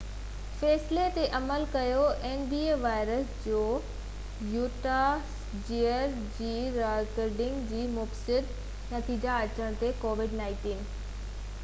covid-19 وائرس جي Utah Jazz جي رانديگرن جي مثبت نتيجا اچڻ تي nba جي فيصلي تي عمل ڪيو